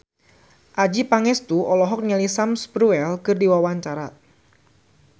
Adjie Pangestu olohok ningali Sam Spruell keur diwawancara